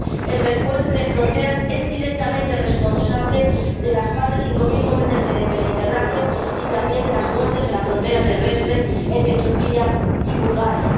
El refuerzo de fronteras es directamente responsable de las más de cinco mil muertes en el Mediterráneo y, también, de las muertes en la frontera terrestre entre Turquía y Bulgaria.